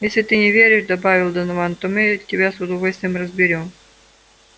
а если ты не веришь добавил донован то мы тебя с удовольствием разберём